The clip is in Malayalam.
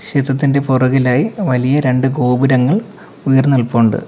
ചിത്രത്തിന്റെ പുറകിലായി വലിയ രണ്ടു ഗോപുരങ്ങൾ ഉയർന്നു നിൽപ്പുണ്ട്.